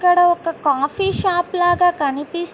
ఇక్కడ ఒక coffee shop లాగా కనిపిస్తు --